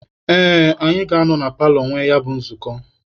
Ee, anyị ga-anọ na paalọ nwee ya bụ nzukọ.